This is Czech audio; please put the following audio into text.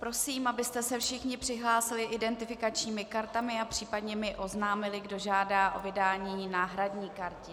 Prosím, abyste se všichni přihlásili identifikačními kartami a případně mi oznámili, kdo žádá o vydání náhradní karty.